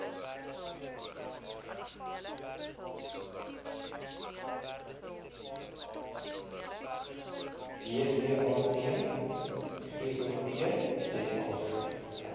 deat gov za